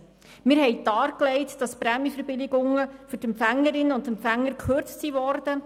Wir haben dargelegt, dass die Prämienverbilligungen für die Empfängerinnen und Empfänger gekürzt wurden.